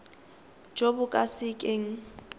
jo bo ka se keng